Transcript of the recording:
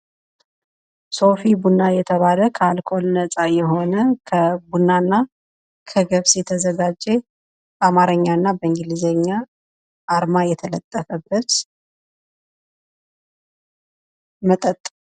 ሲፊ ቡና የተባለ ከአልኮል ነጻ የሆነ ከቡና እና ከገብስ የተዘጋጀ በአማረኛ እና በእንግሊዘኛ አርማ የተለጠፈበት መጠጥ።